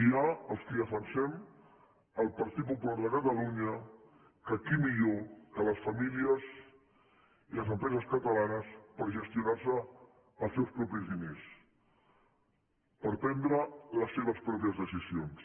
hi ha els qui defensem el partit popular de catalunya que qui millor que les famílies i les empreses catalanes per gestionar se els seus propis diners per prendre les seves pròpies decisions